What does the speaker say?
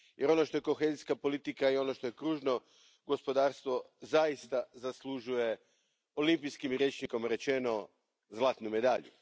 Jer, ono što je kohezijska politika i što je kružno gospodarstvo zaista zaslužuje, olimpijskim rječnikom rečeno, zlatnu medalju.